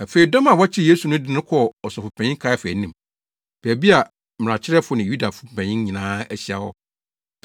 Afei dɔm a wɔkyeree Yesu no de no kɔɔ Ɔsɔfopanyin Kaiafa anim, baabi a mmarakyerɛfo ne Yudafo mpanyin nyinaa ahyia hɔ.